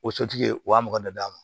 O sotigi u y'a mugan de d'a ma